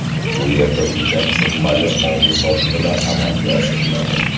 Bu yerda ulkan summali oldi-sotdilar amalga oshiriladi.